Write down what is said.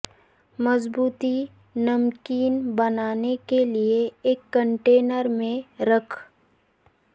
مضبوطی نمکین بنانا کے لئے ایک کنٹینر میں رکھ